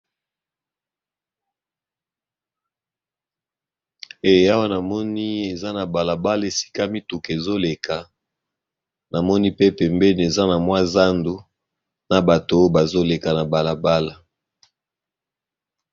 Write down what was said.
Awana moni eza na balabala esika mituka ezoleka namoni pe pembeni eza na mwa zandu, na bato oo bazoleka na balabala.